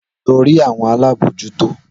Lọ rí àwọn alábòójútó.